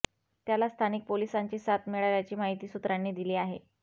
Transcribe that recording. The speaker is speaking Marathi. त्याला स्थानिक पोलिसांची साथ मिळाल्याची माहिती सुत्रांनी दिली आहे